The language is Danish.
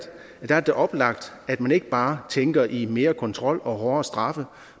oplagt at man ikke bare tænker i mere kontrol og hårdere straffe